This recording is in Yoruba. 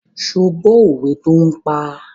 Ṣé ó gbọ́ òwe tó ń pa?